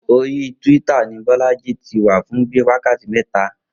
Orí twitter ni Bó̩lájí ti wà fún bíi wákàtí mé̩ta